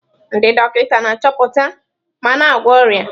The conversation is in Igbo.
Ndị dọkịta na-achọpụta ma na-agwọ ọrịa.